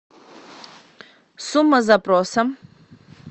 сумма запроса